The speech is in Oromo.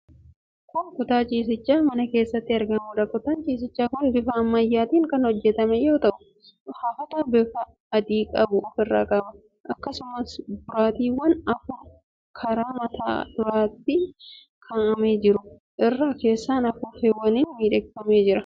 Kun kutaa ciisichaa mana keessatti argamuudha. Kutaan ciisichaa kun bifa ammayyaatiin kan hojjetame yoo ta'u, hafata bifa adii qabu ofirraa qaba. Akkasumas, boraatiiwwan afur karaa mataa duraatiin kaa'amanii jiru. Irra keessaan afuuffeewwaniin miidhagfamee jira.